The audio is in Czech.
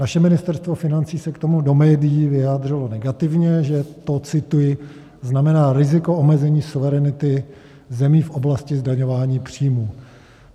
Naše Ministerstvo financí se k tomu do médií vyjádřilo negativně, že to, cituji, "znamená riziko omezení suverenity zemí v oblasti zdaňování příjmů".